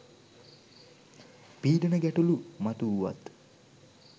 පීඩන ගැටලූ මතු වුවත්